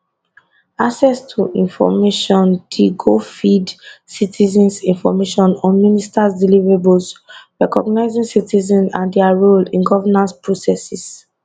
access to informationdi go feed citizens information on ministers deliverables recognising citizens and dia role in governance process